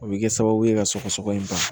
O bɛ kɛ sababu ye ka sɔgɔsɔgɔ in ban